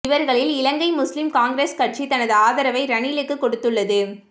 இவர்களில் Ilangai Muslim Congress கட்சி தனது ஆதரவை ரணிலுக்கு கொடுத்துள்ளது